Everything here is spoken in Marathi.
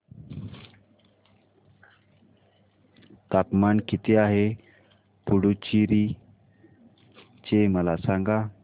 तापमान किती आहे पुडुचेरी चे मला सांगा